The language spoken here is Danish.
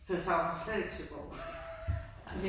Så jeg savner slet ikke Søborg